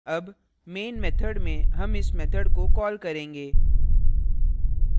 अब main method में हम इस method को कॉल करेंगे